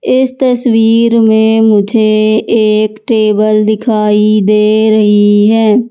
इस तस्वीर में मुझे एक टेबल दिखाई दे रही हैं।